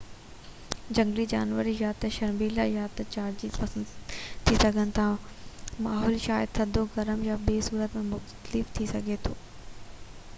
جهنگلي جانور يا ته شرميلا يا جارحيت پسند ٿي سگهن ٿا ماحول شايد ٿڌو گرم يا ٻي صورت ۾ مختلف ٿي سگهي ٿو